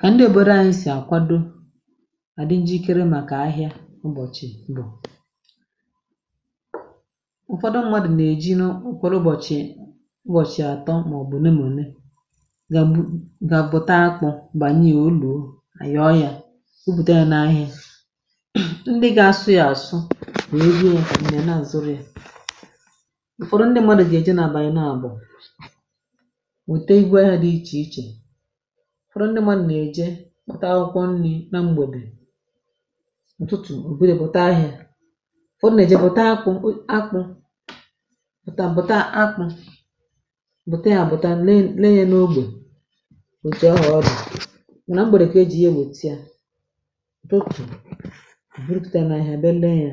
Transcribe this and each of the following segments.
Kà ndị obodo ànyị sì àkwado àdị njikere màkà ahịa ụbọ̀chị̀ bụ̀, ụ̀fọdụ mmadụ̀ nà-èji n’okworo ụbọ̀chị̀ ụbọ̀chị̀ àtọ màọ̀bụ̀ olé ma olé ga ga bu̇ta akpụ̇ bànye ya ò luò, àyọ ya bùpute ya na ahịa, ndị gȧ asụ yȧ àsụ wèe gị yė ǹdị àna àzụrịȧ, ụ̀fọdụ ndị mmadụ̀ gà-èje na-àbànyẹ na àbụ̀ weta ịbụ ahịa dị iche iche, ụfọdụ ndị mmadụ nà-èje kpata akwụkwọ nni̇ na m̀gbède, ụ̀tụtụ ò buruye pụ̀ta ahị̇ȧ, ụfọdụ nà èje bụta akpụ̇ akpụ̇ bùtà akpụ́, bụ̀ta yȧ bụ̀ta lee lee n’ogbè òtù ahụ odi, na m̀gbède kà e jì ye wètìa, ụtụtụ eburupùtà ya nà áhiá bia lee yȧ.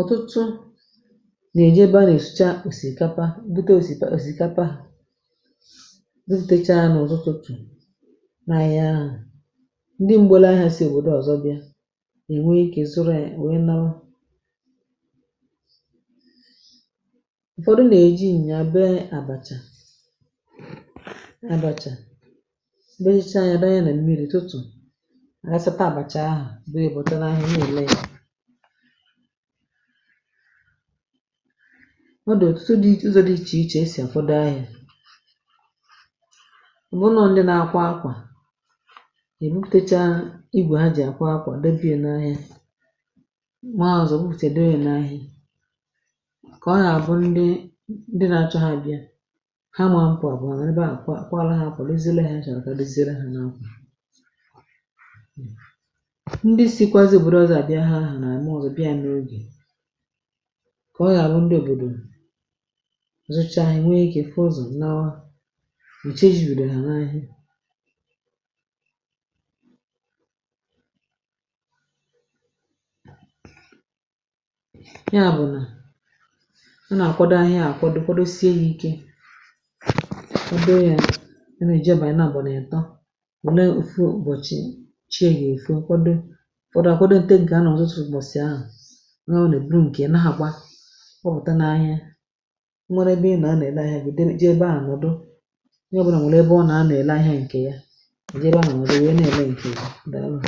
Ọ̀tụtụ nà-èje ebe a nà-èsucha òsìkapa bute òsìkapa, bùpute chá há n’uzọ utụtụ̀ na ahịa ahụ̀, ndị mgbele ahịa sì obodo ọ̀zọ bịa è nwee ịkè zụrụ nwee nnawa, ụ̀fọdụ nà-èji nyià bè àbàchà, abachà be icha ya dọnye ya nà mmiri̇ ụtụtụ àghàchata àbàchà ahụ̀ bụrụ yá pụta nà áhiá nà èle ya. Ọ dị ọtụtụ dị ụzọ dị iche iche esì akwado ahịa, ọbụ na ọ ndị na-akwa akwà, èbuputecha igwè ha jì àkwa akwà debi ya n’ahịa, mà ụzọ bùpute ha debi ya n’ahịa, kà ọ àgà-àbụ ndi ndi na-achọ ha bịa ha ma apụ apụ ha nọrọ ebe ahụ kwara ha akwà doziere ihe ha chọrọ ka edoziere ha n’akwà, ndị si̇kwazị òbòdò ọzọ̇ abịa ahịa ahụ nà-àma uzọ̀ abịa ya n’ogè, ka oga abụ ndị òbòdò jụụ chá enwe ike fụ ụzọ lawa mgbe chi eji bídó ha na ahịa. Ya bú nà ana akwàdo ahịa hụ akwado kwadosie ya ike ana ejì abalị na abụ na itọ́ nwèrè ofu ụbọchị chi gá-efo kwado, ụfọdụ akwadote nke há n'ututu ubochi ahụ, onye obula eburu nke ya na agba! gbaputa nà áhiá, enwere ébé ị̀na anọ ere ahịa gị ije ebe ahụ nnodu, ónyé ọbula nwere ébé ọna anọ ere ahịa nkè ya nọdụ ébé áhù wéé na èle nke gị, daalụ ńu.